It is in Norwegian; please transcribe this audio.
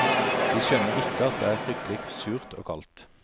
De skjønner ikke at det er fryktelig surt og kaldt.